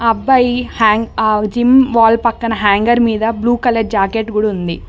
ఆ అబ్బాయి hanging wall పక్కన హ్యాంగర్ మీద బ్లూ కలర్ జాకెట్ కూడా ఉంది.